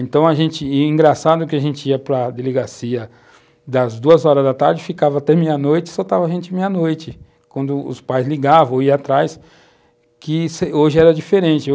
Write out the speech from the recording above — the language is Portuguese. Então a gente, engraçado que a gente ia para a delegacia das duas horas da tarde, ficava até meia-noite e soltava a gente meia-noite, quando os pais ligavam ou iam atrás, que hoje era diferente.